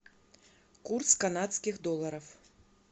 курс канадских долларов